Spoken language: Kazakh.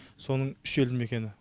соның үш елді мекені